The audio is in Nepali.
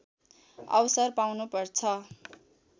अवसर पाउनुपर्छ